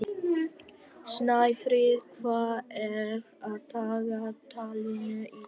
Snæfríð, hvað er á dagatalinu í dag?